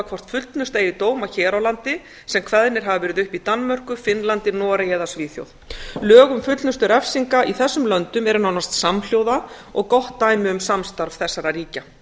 hvort fullnusta eigi dóma hér á landi sem kveðnir hafa verið upp í danmörku finnlandi noregi eða svíþjóð lög um fullnustu refsinga í þessum löndum eru nánast samhljóða og gott dæmi um samstarf þessara ríkja